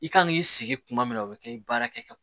I kan k'i sigi kuma min na o bɛ kɛ i baara kɛ ka